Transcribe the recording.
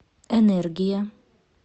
энергия